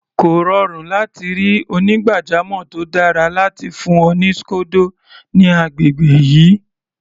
Kò rọrùn láti ri onígbàjamọ̀ tó dára láti fún ọ ní scodo ní agbègbè yìí.